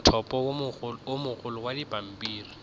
mothopo o mogolo wa pampiri